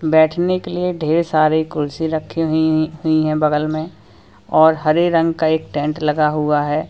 बैठने के लिए ढेर सारे कुर्सी रखी हुई हुई है बगल में और हरे रंग का एक टेंट लगा हुआ है।